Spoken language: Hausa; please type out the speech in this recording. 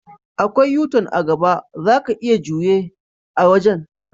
Akwai U-tun a'gaba, zaka iya juye a wajen.